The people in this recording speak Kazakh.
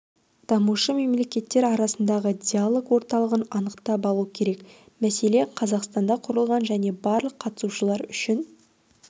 дамушы мемлекеттер арасындағы диалог орталығын анықтап алу керек мәселен қазақстанда құрылған және барлық қатысушылар үшін